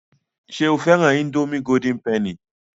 Ṣé o fẹ́ran ińdómì golden penny?